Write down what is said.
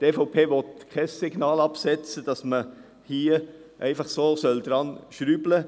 Die EVP will kein Signal aussenden, dahingehend, dass einfach man daran schrauben sollte.